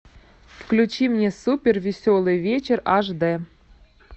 включи мне супер веселый вечер ашдэ